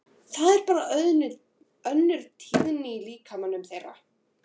Það er bara önnur tíðni í líkamanum þeirra.